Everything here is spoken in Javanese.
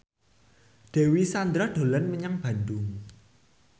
Dewi Sandra dolan menyang Bandung